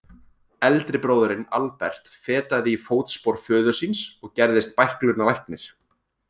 Eldri bróðirinn, Albert, fetaði í fótspor föður síns og gerðist bæklunarlæknir.